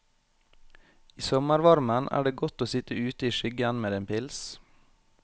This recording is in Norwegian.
I sommervarmen er det godt å sitt ute i skyggen med en pils.